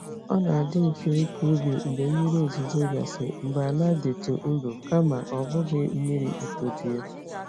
Ọ na-adị mfe ịkọ ubi mgbe mmiri ozuzo gasịrị mgbe ala dịtụ nro kama ọ bụghị mmiri itoju ya.